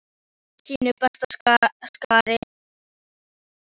Allir voru í sínu besta skarti.